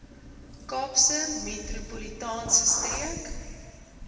kaapse metropolitaanse streek